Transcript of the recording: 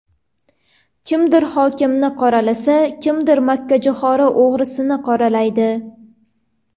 Kimdir hokimni qoralasa, kimdir makkajo‘xori o‘g‘risini qoralaydi.